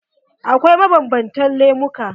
Akwai mabanbantan lemuka.